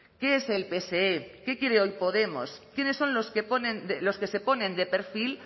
qué es el pse qué quiere hoy podemos quiénes son los que se ponen de perfil